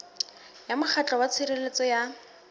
ya mokgatlo wa tshireletso ya